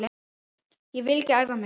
Ég vil ekki æfa mig.